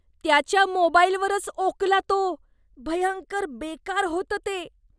त्याच्या मोबाईलवरच ओकला तो. भयंकर बेकार होतं ते.